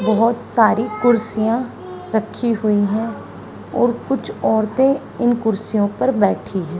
बहोत सारी कुर्सियां रखी हुई हैं और कुछ औरतें इन कुर्सियों पर बैठी हैं।